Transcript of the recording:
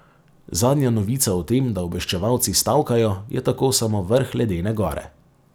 Zadnja novica o tem, da obveščevalci stavkajo, je tako samo vrh ledene gore.